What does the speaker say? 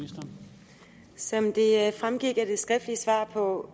salen og